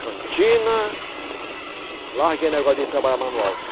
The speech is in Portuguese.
Cantina... Larguei o negócio de trabalhar manual.